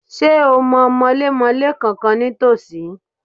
Ṣé o mọ mọlémọlé kànkan ní tòsí?